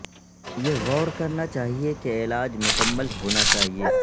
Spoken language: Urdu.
یہ غور کرنا چاہئے کہ علاج مکمل ہونا چاہئے